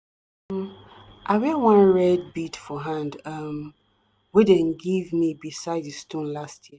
um i wear one red bead for hand um wey dem give me beside di stone last year.